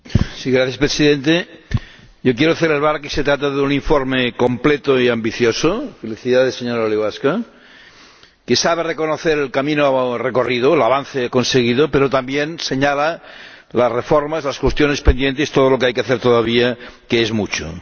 Señor Presidente, yo quiero celebrar que se trata de un informe completo y ambicioso ―felicidades, señora Łybacka― que sabe reconocer el camino recorrido, el avance conseguido, pero también señala las reformas, las cuestiones pendientes y todo lo que hay que hacer todavía, que es mucho.